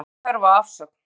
Telur ekki þörf á afsögn